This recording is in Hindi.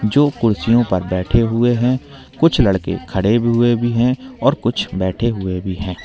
जो कुर्सियों पर बैठे हुए है कुछ लड़के खड़े भी हुए भीं है और कुछ बैठे हुए भी है।